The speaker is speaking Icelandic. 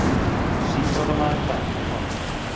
Síbrotamaður dæmdur í fangelsi